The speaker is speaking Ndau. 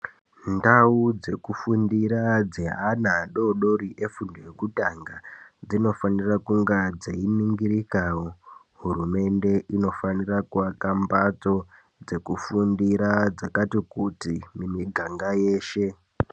Ndau dzekufundira dzeana adodori vefundo yekutanga dzinofanirwa kunga dzei ningirikawo. Hurumende inofanira kuaka mbatso dzekufundira ndakati kuti mumiganga yeshe.